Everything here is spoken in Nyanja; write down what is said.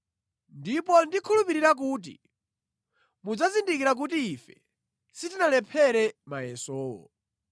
Ndipo ndikhulupirira kuti mudzazindikira kuti ife sitinalephere mayesowo.